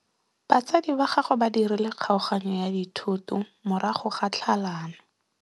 Batsadi ba gagwe ba dirile kgaoganyô ya dithoto morago ga tlhalanô.